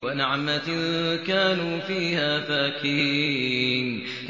وَنَعْمَةٍ كَانُوا فِيهَا فَاكِهِينَ